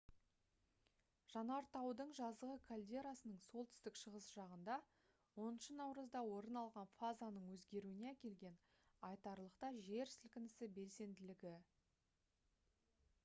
жанартаудың жазғы кальдерасының солтүстік шығыс жағында 10 наурызда орын алған фазаның өзгеруіне әкелген айтарлықтай жер сілкінісі белсенділігі